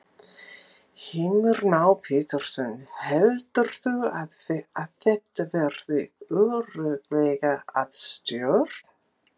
Heimir Már Pétursson: Heldurðu að þetta verði örugglega að stjórn?